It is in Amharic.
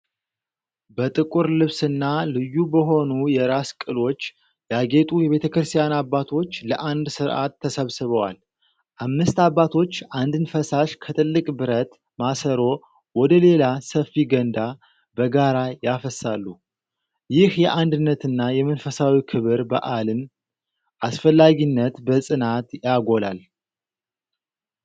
በጥቁር ልብስና ልዩ በሆኑ የራስ ቅሎች ያጌጡ የቤተክርስቲያን አባቶች ለአንድ ሥርዓት ተሰብስበዋል። አምስት አባቶች አንድን ፈሳሽ ከትልቅ ብረት ማሰሮ ወደ ሌላ ሰፊ ገንዳ በጋራ ያፈሳሉ። ይህ የአንድነትና የመንፈሳዊ ክብረ በዓልን አስፈላጊነት በጽናት ያጎላል።